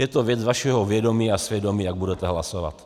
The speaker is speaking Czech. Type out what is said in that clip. Je to věc vašeho vědomí a svědomí, jak budete hlasovat.